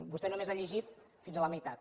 vostè només ha llegit fins a la meitat